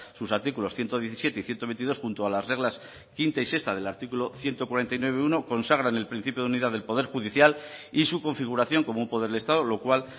sus artículos ciento diecisiete y ciento veintidós junto a las reglas quinta y sexta del artículo ciento cuarenta y nueve punto uno consagran el principio de unidad del poder judicial y su configuración como un poder del estado lo cual